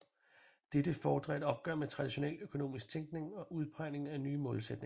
Dette fordrer et opgør med traditionel økonomisk tænkning og udpegning af nye målsætninger